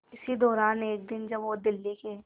इसी दौरान एक दिन जब वो दिल्ली के